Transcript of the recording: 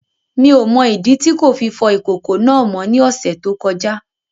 Mi ò mọ ìdí tí kò fi fọ ìkòkò náà mọ́ ní ọ̀sẹ̀ tó kọjá